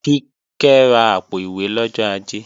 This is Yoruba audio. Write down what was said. Kíkẹ́ ra àpò-ìwé lọ́jọ́ Ajé